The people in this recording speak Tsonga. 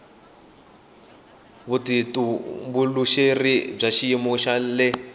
vutitumbuluxeri bya xiyimo xa le